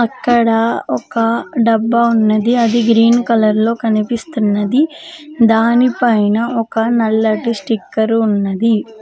ఇక్కడ ఒక డబ్బా ఉన్నది అది గ్రీన్ కలర్ లో కనిపిస్తున్నది దానిపైన ఒక నల్లటి స్టిక్కర్ ఉన్నది.